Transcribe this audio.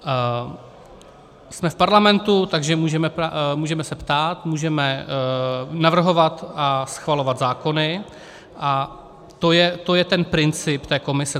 Jsme v parlamentu, takže můžeme se ptát, můžeme navrhovat a schvalovat zákony, a to je ten princip té komise.